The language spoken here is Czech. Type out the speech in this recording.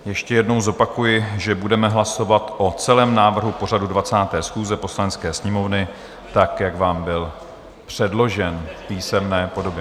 Ještě jednou zopakuji, že budeme hlasovat o celém návrhu pořadu 20. schůze Poslanecké sněmovny, tak jak vám byl předložen v písemné podobě.